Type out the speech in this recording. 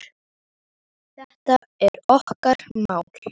Þetta er okkar mál.